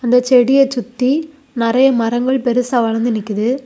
இந்த செடிய சுத்தி நறைய மரங்கள் பெருசா வளர்ந்து நிக்குது.